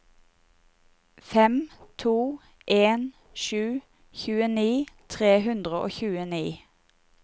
fem to en sju tjueni tre hundre og tjueni